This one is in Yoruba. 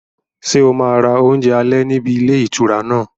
Ṣé o máa ra oúnjẹ alẹ́ níbi ilé ìtura náà?